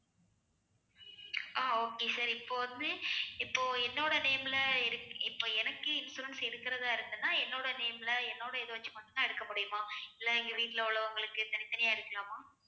ஆஹ் okay sir இப்ப வந்து இப்போ என்னோட name ல எடுக்~ இப்ப எனக்கு insurance எடுக்கிறதா இருந்துனா என்னோட name ல என்னோட இதை வச்சு மட்டும்தான் எடுக்க முடியுமா இல்லை எங்க வீட்டுல உள்ளவங்களுக்கு தனித்தனியா எடுக்கலாமா